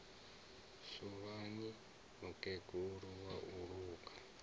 suvhani mukegulu wa u luga